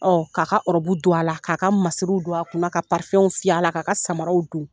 Ɔ k'a ka ɔrɔbu don a la k'a ka masiriw don a kun ka parifɛnw fiyɛ a la k'a ka samaraw don